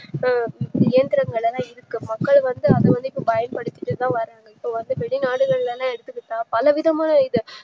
இப்போ இயந்திரங்கல்லாம் இருக்கு மக்கள் வந்து அததுக்கு பயன்படுத்திட்டுதான் வராங்க இப்போவந்து எடுத்துகிட்டா பலவிதமா